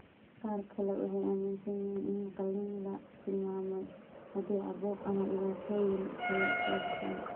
Qaar kale waxay aaminsan yihiin in qalliin la tilmaamay haddii caabuq ama dhibaatooyin kale soo baxaan.